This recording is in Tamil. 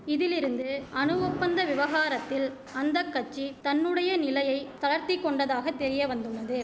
இதிலிருந்து அணு ஒப்பந்த விவகாரத்தில் அந்த கட்சி தன்னுடைய நிலையை தளர்த்தி கொண்டதாக தெரியவந்துள்ளது